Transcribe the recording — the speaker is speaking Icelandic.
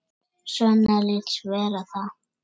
Svenna líst vel á það.